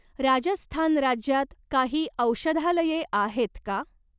राजस्थान राज्यात काही औषधालये आहेत का?